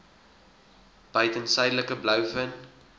buiten suidelike blouvin